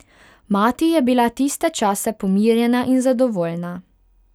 Mati je bila tiste čase pomirjena in zadovoljna.